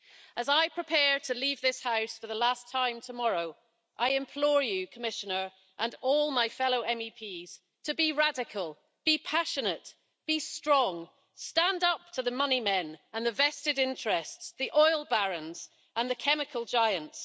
As I prepare to leave this House for the last time tomorrow, I implore you Commissioner and all my fellow MEPs, to be radical, be passionate, be strong, stand up to the money men and the vested interests, the oil barons and the chemical giants.